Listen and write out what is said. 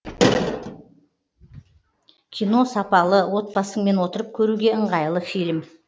кино сапалы отбасыңмен отырып көруге ыңғайлы фильм